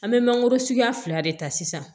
An bɛ mangoro suguya fila de ta sisan